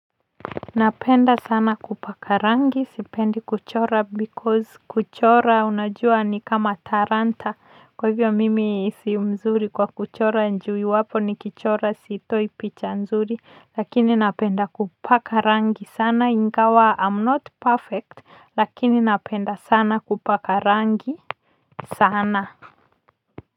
Napenda sana kupaka rangi sipendi kuchora because kuchora unajua ni kama talanta. Kwa hivyo mimi si mzuri kwa kuchora ju iwapo nikichora sitoi picha nzuri. Lakini napenda kupaka rangi sana ingawa I am not perfect, lakini napenda sana kupaka rangi sana.